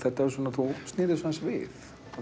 þú snýrð þessu aðeins við